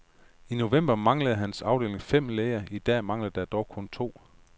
I november manglede hans afdeling fem læger, i dag mangler der dog kun to.